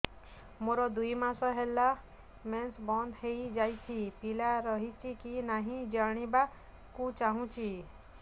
ମୋର ଦୁଇ ମାସ ହେଲା ମେନ୍ସ ବନ୍ଦ ହେଇ ଯାଇଛି ପିଲା ରହିଛି କି ନାହିଁ ଜାଣିବା କୁ ଚାହୁଁଛି